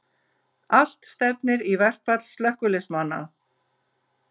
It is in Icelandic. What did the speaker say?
Allt stefnir í verkfall slökkviliðsmanna